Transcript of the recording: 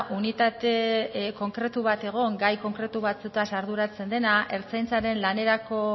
unitate konkretu bat egon gai konkretu batzuetaz arduratzen dena ertzaintzaren lanerako